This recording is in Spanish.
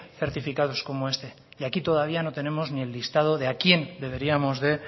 certificados como este y aquí todavía no tenemos el lista de a quién deberíamos de